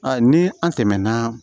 ni an tɛmɛna